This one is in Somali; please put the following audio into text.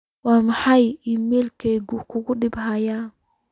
waa maxay iimaylkayga ugu dambeeyay